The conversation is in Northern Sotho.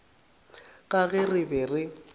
ka ge re be re